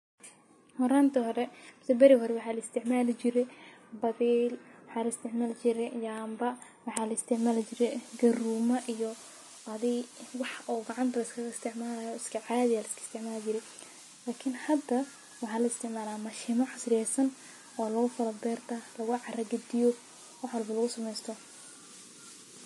Horanta hore, beri hore waxaa laisticmali jire badil waxaa laisticmali jire yamba , waxaa laisticmali jire garuma iyo adi wax oo gacanta liskalaisticmalay wax iskacadi aa laisticmali jire , lakin hada waxaa laisticmalaa mashimo casriyesan oo laugukala berto lugucara gadiyo oo wax walbo lagusameysto.